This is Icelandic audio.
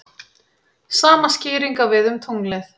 Sama skýring á við um tunglið.